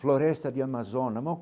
Floresta de Amazona.